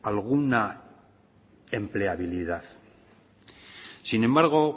alguna empleabilidad sin embargo